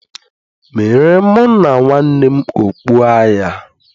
meere mụ na nwanne m okpu agha